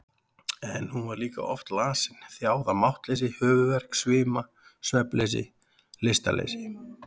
En hún var líka oft lasin, þjáð af máttleysi, höfuðverk, svima, svefnleysi, lystarleysi.